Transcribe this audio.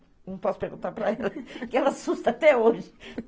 Não posso perguntar para ela, que ela assusta até hoje.